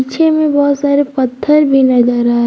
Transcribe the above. पीछे में बहुत सारे पत्थर भी नजर आ--